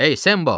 Ey Sembo!